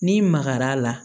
N'i magar'a la